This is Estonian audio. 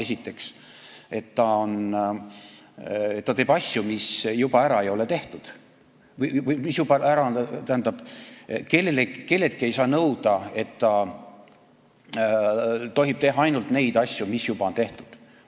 See on äärmiselt küüniline etteheide, sest kelleltki ei saa nõuda, et ta tohib teha ainult neid asju, mis on juba tehtud.